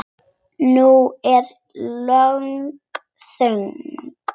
Nú er löng þögn.